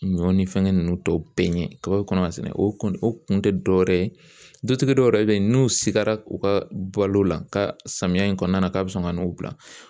Ɲɔ ni fɛngɛ ninnu tɔw bɛɛ ɲɛ kaba bɛ kɔnɔ ka sɛnɛ o kun o kun tɛ dɔ wɛrɛ ye dutigi dɔw yɛrɛ bɛ yen n'u sikara u ka bɔlo la ka samiyɛ in kɔnɔna k'a bɛ sɔn ka n'u bila